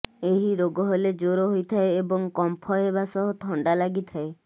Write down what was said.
ଏହି ରୋଗ ହେଲେ ଜ୍ବର ହୋଇଥାଏ ଏବଂ କମ୍ପ ହେବା ସହ ଥଣ୍ଡା ଲାଗିଥାଏ